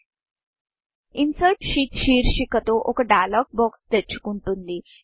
insert sheet insert షీట్శీర్షిక తో ఒక డైలాగ్ boxడైయలోగ్ బాక్స్ తెరుచుకుంటుంది